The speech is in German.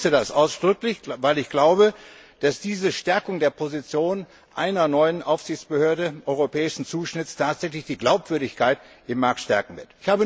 Ich begrüße das ausdrücklich, weil ich glaube, dass diese Stärkung der Position einer neuen Aufsichtsbehörde europäischen Zuschnitts die Glaubwürdigkeit im Markt tatsächlich stärken wird.